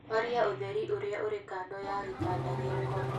horia ũtheri ũrĩĩa ũrĩĩ kando ya gĩtanda gĩakwa